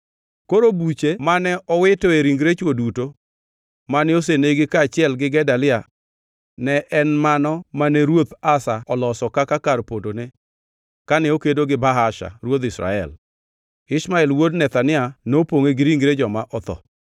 Koro buche mane owitoe ringre chwo duto mane osenego kaachiel gi Gedalia ne en mano mane Ruoth Asa oloso kaka kar pondone kane okedo gi Baasha ruodh Israel. Ishmael wuod Nethania nopongʼe gi ringre joma otho.